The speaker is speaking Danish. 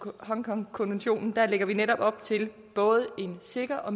hongkongkonventionen lægger vi netop op til både en sikker og